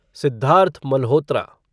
Siddharth Malhotra